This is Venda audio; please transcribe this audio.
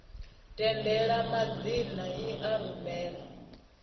tendela madzina i a rumela